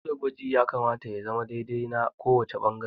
Dole gwaji ya kamata ya zama dai dai na kowace ɓangare